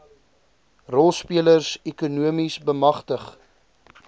rolspelers ekonomies bemagtig